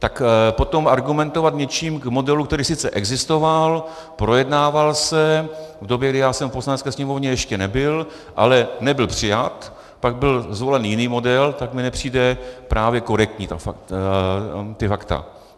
Tak potom argumentovat něčím k modelu, který sice existoval, projednával se v době, kdy já jsem v Poslanecké sněmovně ještě nebyl, ale nebyl přijat, pak byl zvolen jiný model, tak mi nepřijdou právě korektní ta fakta.